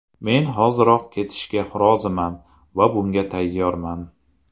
Men hoziroq ketishga roziman va bunga tayyorman.